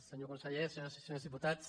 senyor conseller senyores i senyors diputats